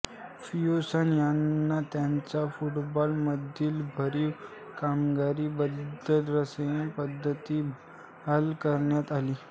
Fergusson यांना त्यांचा football मधील भरिव कामगिरी बद्दल सरहि पदवी बाहाल करण्यात आली